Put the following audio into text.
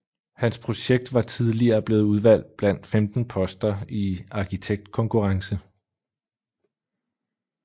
Hans projekt var tidligere blevet udvalgt blandt 15 poster i arkitektkonkurrence